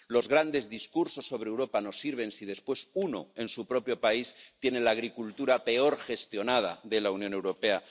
Los grandes discursos sobre Europa no sirven si después uno en su propio país tiene la agricultura peor gestionada de la Unión Europea.